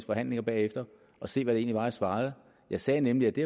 forhandlinger bagefter og se hvad det egentlig var jeg svarede jeg sagde nemlig at det